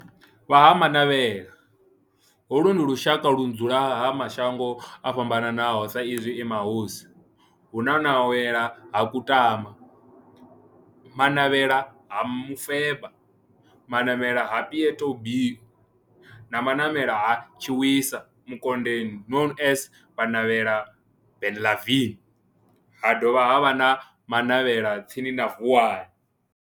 Vha Ha-Manavhela, holu ndi lushaka ludzula kha mashango ofhambanaho sa izwi e mahosi, hu na Manavhela ha Kutama, Manavhela ha Mufeba, Manavhela ha Pietboi na Manavhela ha Tshiwisa Mukonde known as Manavhela Benlavin, ha dovha havha na Manavhela tsini na Vuwani.